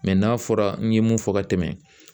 n'a fɔra n ye mun fɔ ka tɛmɛn